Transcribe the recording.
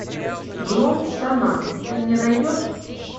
гром в штанах ты мне найдешь